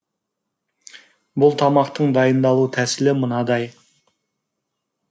бұл тамақтың дайындалу тәсілі мынадай